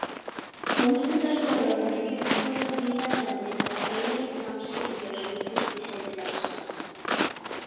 Tómstundaskólar og myndlistaskólar víða um landið hafa yfirleitt námskeið í ljósmyndun í sinni dagskrá.